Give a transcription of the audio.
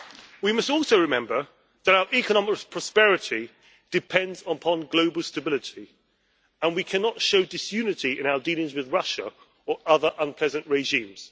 We must also remember that our economic prosperity depends upon global stability, and we cannot show disunity in our dealings with Russia or other unpleasant regimes.